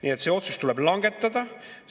Aga see otsus tuleb langetada.